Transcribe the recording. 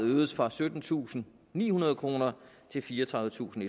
øges fra syttentusinde og nihundrede kroner til fireogtredivetusinde